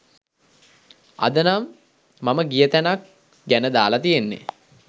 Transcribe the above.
අද නම් මම ගිය තැනක් ගැන දාලා තියෙන්නේ